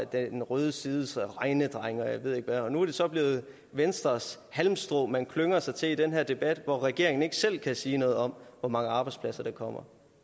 den røde sides regnedrenge og jeg ved ikke hvad og nu er det så blevet venstres halmstrå man klynger sig til i den her debat hvor regeringen ikke selv kan sige noget om hvor mange arbejdspladser der kommer